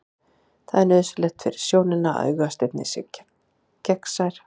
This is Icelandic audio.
Það er nauðsynlegt fyrir sjónina að augasteininn sé gegnsær.